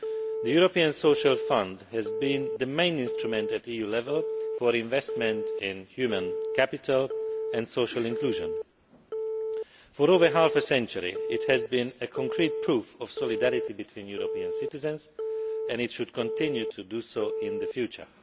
The European Social Fund has been the main instrument at EU level for investment in human capital and social inclusion. For over half a century, it has been a concrete proof of solidarity between European citizens and it should continue to be so in the future.